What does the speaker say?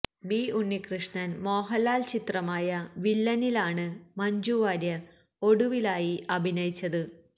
B ഉണ്ണികൃഷ്ണന് മോഹന്ലാല് ചിത്രമായ വില്ലനിലാണ് മഞ്ജു വാര്യര് ഒടുവിലായി അഭിനയിച്ചത്